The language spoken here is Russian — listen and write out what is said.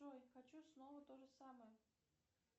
джой хочу снова тоже самое